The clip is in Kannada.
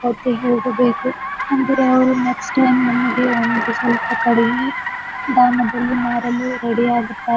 ಮತ್ತೆ ಹೋಗಬೇಕು ಅಂದ್ರೆ ಅವ್ರು ನೆಕ್ಸ್ಟ್ ಟೈಮ್ ಬಂಡಿ ಅಲ್ಪ ಸ್ವಲ್ಪ ಕಡಿಮ ದಾಮದಲ್ಲಿ ಮಾರಲು ರೆಡಿ ಆಗುತ್ತಾರೆ.